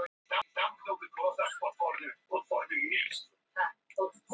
Styrkurinn í kjálkunum var meiri en við mátti búast af barnslegu andlitinu.